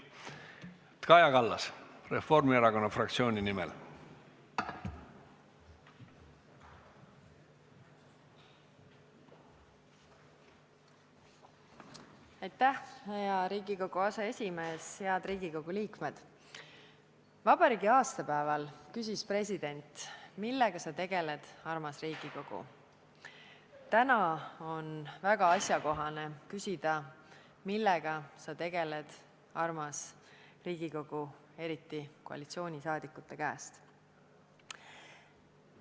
" Täna on väga asjakohane küsida, millega sa tegeled, armas Riigikogu, eriti koalitsioonisaadikute käest.